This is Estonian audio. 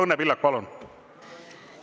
Õnne Pillak, palun!